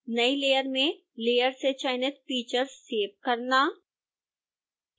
नई layer में layer से चयनित फीचर्स सेव करना